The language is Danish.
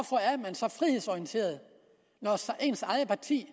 så frihedsorienteret når ens eget parti